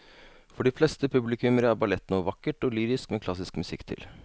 For de fleste publikummere er ballett noe vakkert og lyrisk med klassisk musikk til.